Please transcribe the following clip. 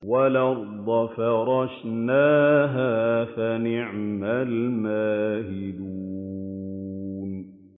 وَالْأَرْضَ فَرَشْنَاهَا فَنِعْمَ الْمَاهِدُونَ